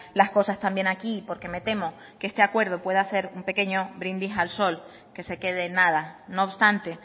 las cosas también aquí porque me temo que este acuerdo pueda ser un pequeño brindis al sol que se quede en nada no obstante